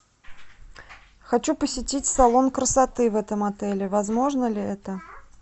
хочу посетить салон красоты в этом отеле возможно ли это